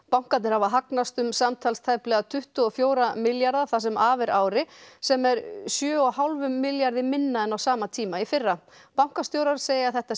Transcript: bankarnir hafa hagnast um samtals tæplega tuttugu og fjóra milljarða það sem af er ári sem er sjö og hálfum milljarði minna en á sama tíma í fyrra bankastjórar segja að þetta